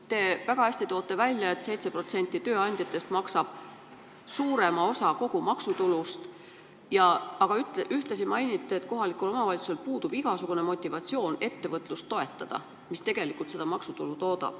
Te tõite väga hästi välja, et 7% tööandjatest annab suurema osa kogu maksutulust, aga ühtlasi mainisite, et kohalikul omavalitsusel puudub igasugune motivatsioon toetada ettevõtlust, mis tegelikult seda maksutulu toodab.